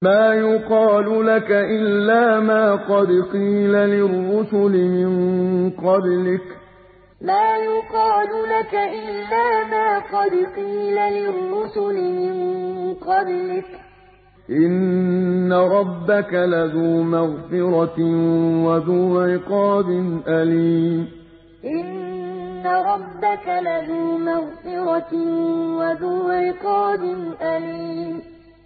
مَّا يُقَالُ لَكَ إِلَّا مَا قَدْ قِيلَ لِلرُّسُلِ مِن قَبْلِكَ ۚ إِنَّ رَبَّكَ لَذُو مَغْفِرَةٍ وَذُو عِقَابٍ أَلِيمٍ مَّا يُقَالُ لَكَ إِلَّا مَا قَدْ قِيلَ لِلرُّسُلِ مِن قَبْلِكَ ۚ إِنَّ رَبَّكَ لَذُو مَغْفِرَةٍ وَذُو عِقَابٍ أَلِيمٍ